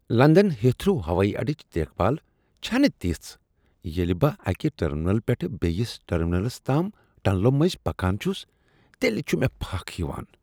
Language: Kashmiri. لندن ہیتھرو ہوٲیی اڑٕچ دیکھ بھال چھ نہٕ تژھ۔ ییٚلہ بہٕ اکہ ٹٔرمینلہٕ پٮ۪ٹھٕ بیٚیس ٹرمینلس تام ٹنلو مٔنٛزۍ پکان چھس، تیٚلہ چھ مےٚ پھکھ یوان۔